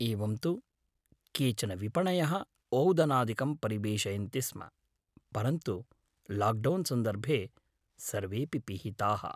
एवं तु केचन विपणयः ओदनादिकं परिवेषयन्ति स्म, परन्तु लाक्डौन् सन्दर्भे सर्वेपि पिहिताः।